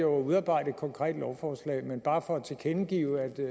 udarbejde et konkret lovforslag men bare for at tilkendegive